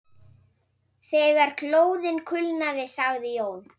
Þegar glóðin kulnaði sagði Jón